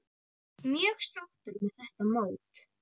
Mjög sáttur með þetta mót.